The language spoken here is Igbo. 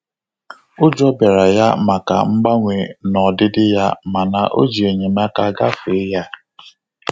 Ụjọ bịara ya maka mgbanwe n'odidi ya mana o ji enyemaka gafe ya